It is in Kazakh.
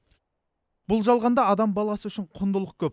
бұл жалғанда адам баласы үшін құндылық көп